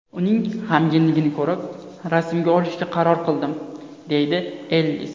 Uning g‘amginligini ko‘rib, rasmga olishga qaror qildim”, deydi Ellis.